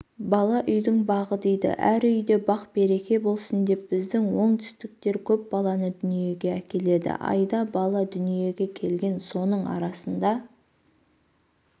бала үйдің бағы дейді әр үйде бақ-береке болсын деп біздің оңтүстіктер көп баланы дүниеге әкеледі айда бала дүниеге келген соның арасында